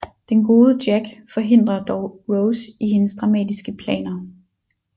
Den gode Jack forhindrer dog Rose i hendes dramatiske planer